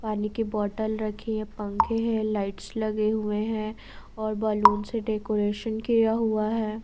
पानी की बोतल रखी है पंखे हैं लाइट्स लगे हुए हैं और बालून से डेकोरेशन किया हुआ है।